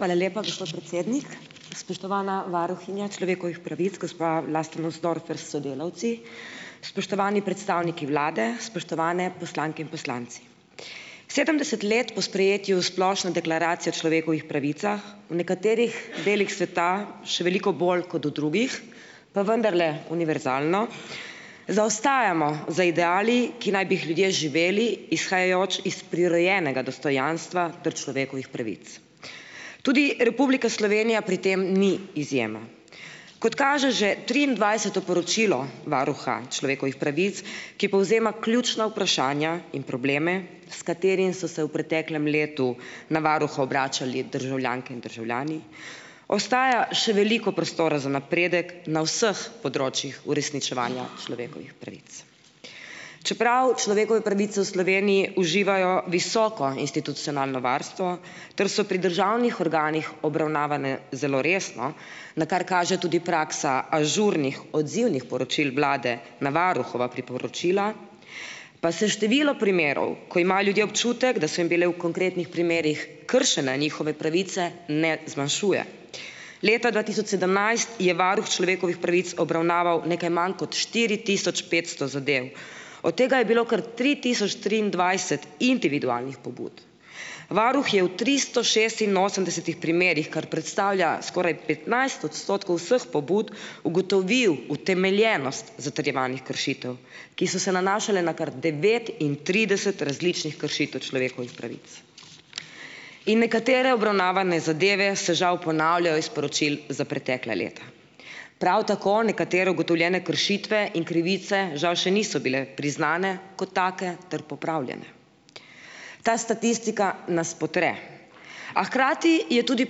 Hvala lepa, gospod predsednik. Spoštovana varuhinja človekovih pravic, gospa Vlasta Nussdorfer s sodelavci! Spoštovani predstavniki vlade, spoštovani poslanke in poslanci! Sedemdeset let po sprejetju splošne deklaracije o človekovih pravicah v nekaterih delih sveta, še veliko bolj kot v drugih, pa vendarle univerzalno, zaostajamo za ideali, ki naj bi jih ljudje živeli izhajajoč iz prirojenega dostojanstva ter človekovih pravic. Tudi Republika Slovenija pri tem ni izjema. Kot kaže že triindvajseto poročilo varuha človekovih pravic, ki povzema ključna vprašanja in probleme, s katerimi so se v preteklem letu na varuha obračali državljanke in državljani, ostaja še veliko prostora za napredek na vseh področjih uresničevanja človekovih pravic. Čeprav človekove pravice v Sloveniji uživajo visoko institucionalno varstvo ter so pri državnih organih obravnavane zelo resno, na kar kaže tudi praksa ažurnih odzivnih poročil vlade na varuhova priporočila, pa se število primerov, ko imajo ljudje občutek, da so jim bile v konkretnih primerih kršene njihove pravice, ne zmanjšuje. Leta dva tisoč sedemnajst je varuh človekovih pravic obravnaval nekaj manj kot štiri tisoč petsto zadev, od tega je bilo kar tri tisoč triindvajset individualnih pobud. Varuh je v tristo šestinosemdesetih primerih, kar predstavlja skoraj petnajst odstotkov vseh pobud, ugotovil utemeljenost zatrjevanih kršitev, ki so se nanašale na kar devetintrideset različnih kršitev človekovih pravic. In nekatere obravnavane zadeve se žal ponavljajo iz poročil za pretekla leta. Prav tako nekatere ugotovljene kršitve in krivice žal še niso bile priznane kot take ter popravljene. Ta statistika nas potre, a hkrati je tudi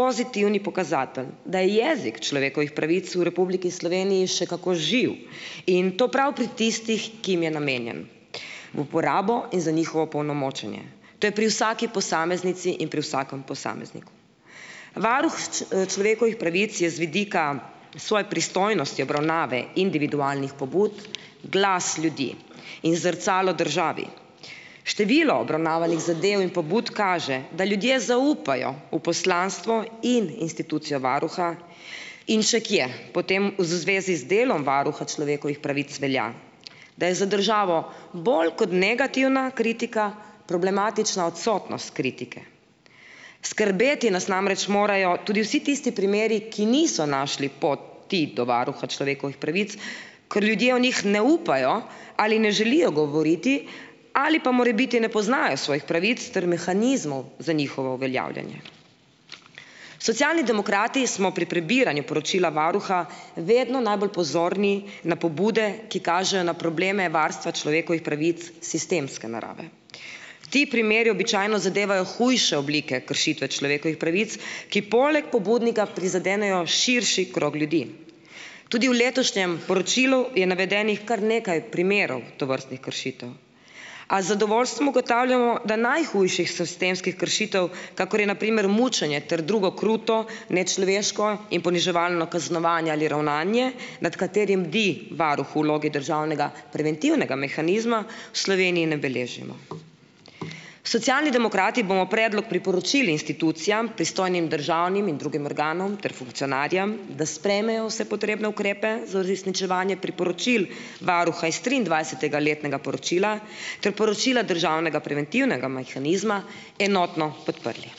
pozitivni pokazatelj, da je jezik človekovih pravic v Republiki Sloveniji še kako živ, in to prav pri tistih, ki jim je namenjen v uporabo in za njihovo opolnomočenje. To je pri vsaki posameznici in pri vsakem posamezniku. Varuh človekovih pravic je z vidika svoje pristojnosti obravnave individualnih pobud glas ljudi in zrcalo državi. Število obravnavanih zadev in pobud kaže, da ljudje zaupajo v poslanstvo in institucijo varuha in še kje. Potem v zvezi z delom varuha človekovih pravic velja, da je za državo bolj kot negativna kritika problematična odsotnost kritike. Skrbeti nas namreč morajo tudi vsi tisti primeri, ki niso našli poti ti do Varuha človekovih pravic, ker ljudje o njih ne upajo ali ne želijo govoriti ali pa morebiti ne poznajo svojih pravic ter mehanizmov za njihovo uveljavljanje. Socialni demokrati smo pri prebiranju poročila varuha vedno najbolj pozorni na pobude, ki kažejo na probleme varstva človekovih pravic sistemske narave. Ti primeri običajno zadevajo hujše oblike kršitve človekovih pravic, ki poleg pobudnika prizadenejo širši krog ljudi. Tudi v letošnjem poročilu je navedenih kar nekaj primerov tovrstnih kršitev, a z zadovoljstvom ugotavljamo, da najhujših sistemskih kršitev, kakor je na primer mučenje ter drugo kruto, nečloveško in poniževalno kaznovanje ali ravnanje, nad katerim bdi varuh vlogi državnega preventivnega mehanizma, v Sloveniji ne beležimo. Socialni demokrati bomo predlog priporočili institucijam pristojnim državnim in drugim organom ter funkcionarjem, da sprejmejo vse potrebne ukrepe za uresničevanje priporočil varuha iz triindvajsetega letnega poročila, ter poročila državnega preventivnega majhanizma enotno podprli.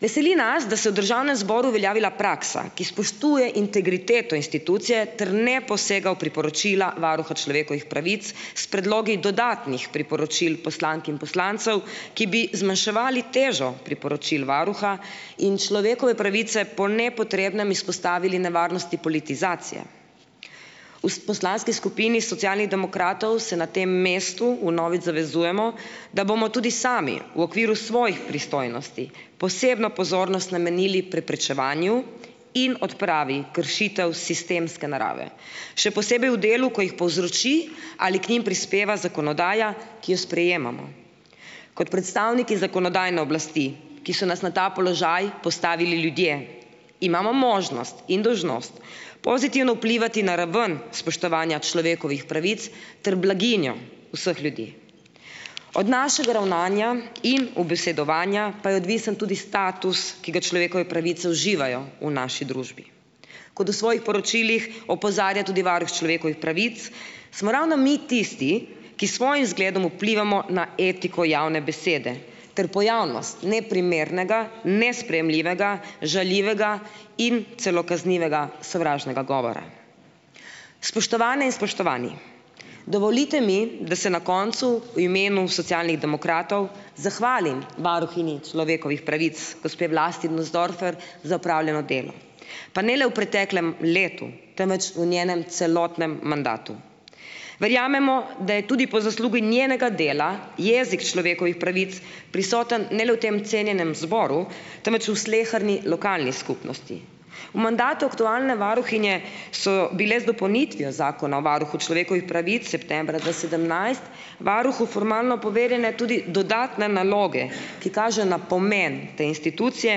Veseli nas, da se je v državnem zboru uveljavila praksa, ki spoštuje integriteto institucije ter ne posega v priporočila varuha človekovih pravic s predlogi dodatnih priporočil poslank in poslancev, ki bi zmanjševali težo priporočil varuha in človekove pravice po nepotrebnem izpostavili nevarnosti politizacije. V poslanski skupini Socialnih demokratov se na tem mestu vnovič zavezujemo, da bomo tudi sami v okviru svojih pristojnosti posebno pozornost namenili preprečevanju in odpravi kršitev sistemske narave še posebej v delu, ko jih povzroči ali k njim prispeva zakonodaja, ki jo sprejemamo. Kot predstavniki zakonodajne oblasti, ki so nas na ta položaj postavili ljudje, imamo možnost in dolžnost pozitivno vplivati na raven spoštovanja človekovih pravic ter blaginjo vseh ljudi. Od našega ravnanja in ubesedovanja pa je odvisen tudi status, ki ga človekove pravice uživajo v naši družbi. Kot v svojih poročilih opozarja tudi varuh človekovih pravic smo ravno mi tisti, ki s svojim vzgledom vplivamo na etiko javne besede ter pojavnost neprimernega, nesprejemljivega, žaljivega in celo kaznivega sovražnega govora. Spoštovane in spoštovani, dovolite mi, da se na koncu v imenu Socialnih demokratov zahvalim varuhinji človekovih pravic gospe Vlasti Nussdorfer za opravljeno delo, pa ne le v preteklem letu, temveč v njenem celotnem mandatu. Verjamemo, da je tudi po zaslugi njenega dela jezik človekovih pravic prisoten ne le v tem cenjenem zboru, temveč v sleherni lokalni skupnosti. V mandatu aktualne varuhinje so bile z dopolnitvijo Zakona o varuhu človekovih pravic septembra dva sedemnajst varuhu formalno poverjene tudi dodatne naloge, ki kažejo na pomen te institucije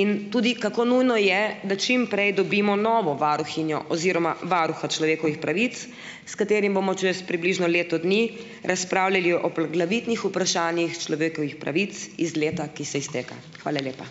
in tudi kako nujno je, da čimprej dobimo novo varuhinjo oziroma varuha človekovih pravic, s katerim bomo čez približno leto dni razpravljali o poglavitnih vprašanjih človekovih pravic iz leta, ki se izteka. Hvala lepa.